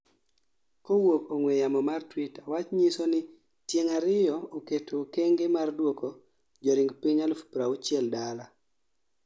kawuok ong'we yamo ma Twitter wach nyiso ni tieng' ariyo oketo okenge mar duoko joring piny 60,000 dala